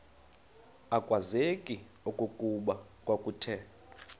akwazeki okokuba kwakuthe